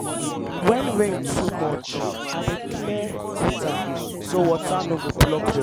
um harmattan time i dey clean window regular because um dust um too plenty.